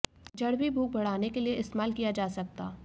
जड़ भी भूख बढ़ाने के लिए इस्तेमाल किया जा सकता